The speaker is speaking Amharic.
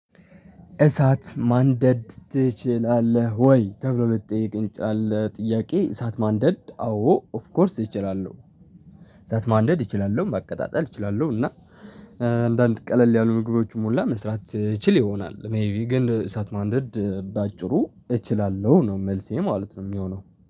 እሳት ማንደድ ትችላለህ? ወይ ተብሎ ለተጠየቀኝ ጫለ ጥያቄ እሳት ማንደድ አዎ ኦፍ ኮርስ እችላለሁ። እሳት ማንደድ እችላለሁ ማቀጣጠል እችላለሁ። እና አንዳንድ ቀለል ያሉ ምግቦችም ሁላ መስራት እችል ይሆናል። ሜይቢ ግን እሳት ማንደድ በአጭሩ እችላለሁ ነው መልሴ ማለት ነው የሚሆነው